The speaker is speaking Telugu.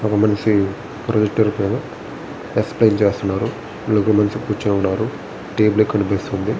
ఒక మనిషి ప్రొజెక్టర్ పైన ఎక్స్ప్లైన్ చేస్తున్నారు. బులుగు మనిషి కూర్చుని ఉన్నారు. టేబల్ కనిపిస్తుంది.